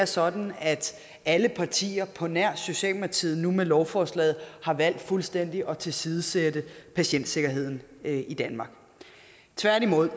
sådan at alle partier på nær socialdemokratiet nu med lovforslaget har valgt fuldstændig at tilsidesætte patientsikkerheden i danmark tværtimod